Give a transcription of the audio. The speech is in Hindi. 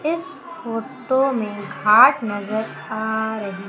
इस फोटो मे घाट नज़र आ रही--